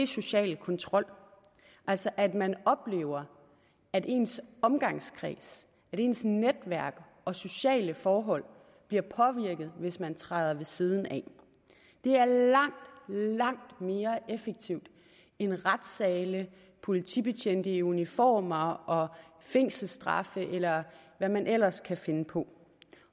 social kontrol altså at man oplever at ens omgangskreds ens netværk og sociale forhold bliver påvirket hvis man træder ved siden af det er langt langt mere effektivt end retssale politibetjente i uniformer og fængselsstraffe eller hvad man ellers kan finde på